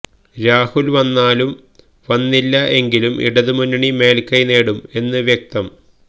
രാഹുൽ വന്നാലും വന്നില്ല എങ്കിലും ഇടതു മുന്നണി മേൽകൈ നേടും എന്ന് വ്യക്തം